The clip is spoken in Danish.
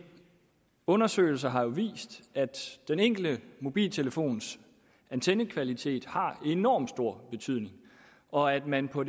undersøgelser har jo vist at den enkelte mobiltelefons antennekvalitet har enormt stor betydning og at man på